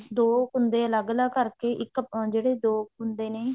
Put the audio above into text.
ਦੋ ਕੁੰਦੇ ਅਲੱਗ ਅਲੱਗ ਕਰਕੇ ਇੱਕ ਜਿਹੜੇ ਦੋ ਕੁੰਦੇ ਨੇ